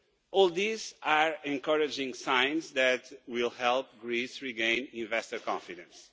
All these are encouraging signs that will help Greece to regain investor confidence.